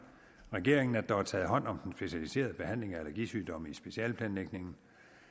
regeringen at der er taget hånd om den specialiserede behandling af allergisygdomme i specialeplanlægningen